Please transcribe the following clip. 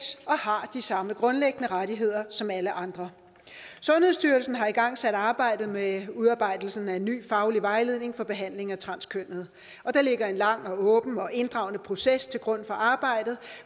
og har de samme grundlæggende rettigheder som alle andre sundhedsstyrelsen har igangsat arbejdet med udarbejdelsen af en ny faglig vejledning for behandling af transkønnede og der ligger en lang åben og inddragende proces til grund for arbejdet